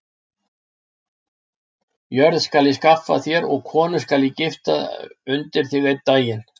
Jörð skal ég skaffa þér og konu skal ég gifta undir þig einn daginn.